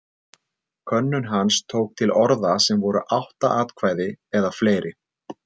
Könnun hans tók til orða sem voru átta atkvæði eða fleiri.